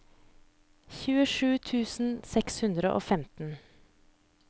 tjuesju tusen seks hundre og femten